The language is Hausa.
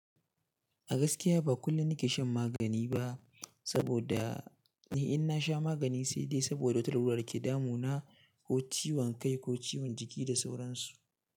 A gaskiya ba kullum nake shan magani ba saboda ni ina sha magani sai dai saboda wata larura da take damu na ko ciwon kai ko ciwon jiki da sauran su.